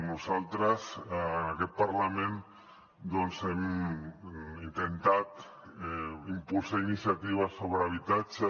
nosaltres en aquest parlament doncs hem intentat impulsar iniciatives sobre habitatge